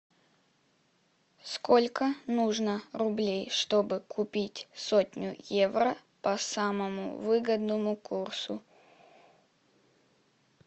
сколько нужно рублей чтобы купить сотню евро по самому выгодному курсу